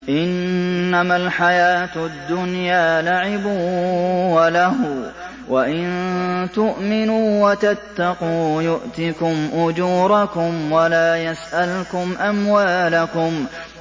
إِنَّمَا الْحَيَاةُ الدُّنْيَا لَعِبٌ وَلَهْوٌ ۚ وَإِن تُؤْمِنُوا وَتَتَّقُوا يُؤْتِكُمْ أُجُورَكُمْ وَلَا يَسْأَلْكُمْ أَمْوَالَكُمْ